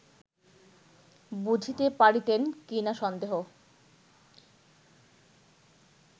বুঝিতে পারিতেন কি-না সন্দেহ